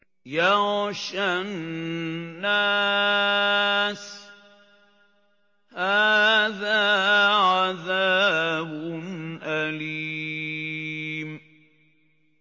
يَغْشَى النَّاسَ ۖ هَٰذَا عَذَابٌ أَلِيمٌ